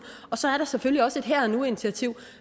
og så er der selvfølgelig også et her og nu initiativ